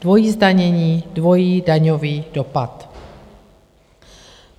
dvojí zdanění, dvojí daňový dopad.